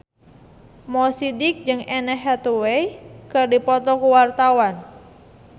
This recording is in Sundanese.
Mo Sidik jeung Anne Hathaway keur dipoto ku wartawan